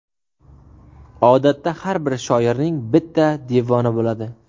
Odatda har bir shoirning bitta devoni bo‘ladi.